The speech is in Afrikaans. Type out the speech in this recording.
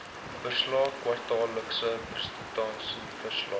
verslae kwartaallikse prestasieverslae